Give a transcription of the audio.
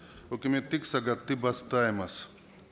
өкіметтік сағатты бастаймыз